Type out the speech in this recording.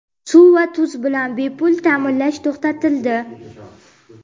suv va tuz bilan bepul ta’minlash to‘xtatildi.